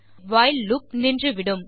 while loop நின்றுவிடும்